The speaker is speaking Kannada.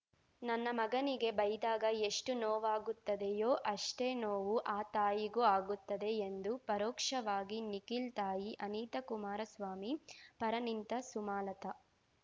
ನನ್ನ ಮಗನಿಗೆ ಬೈದಾಗ ಎಷ್ಟು ನೋವಾಗುತ್ತದೆಯೋ ಅಷ್ಟೇ ನೋವು ಆ ತಾಯಿಗೂ ಆಗುತ್ತದೆ ಎಂದು ಪರೋಕ್ಷವಾಗಿ ನಿಖಿಲ್ ತಾಯಿ ಅನಿತಾಕುಮಾರಸ್ವಾಮಿ ಪರ ನಿಂತ ಸುಮಲತಾ